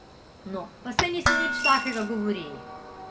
No, pa saj nismo nič takega govorili.